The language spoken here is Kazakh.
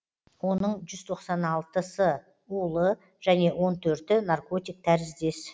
оның жүз тоқсан алтысы улы және он төрті наркотик тәріздес